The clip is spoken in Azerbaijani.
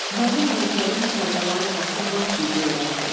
Mənim nökərim Kərbəlayi Qasım lap biqeyrətdir.